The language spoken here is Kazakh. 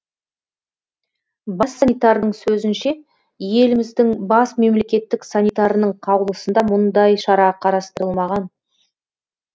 бас санитардың сөзінше еліміздің бас мемлекеттік санитарының қаулысында мұндай шара қарастырылмаған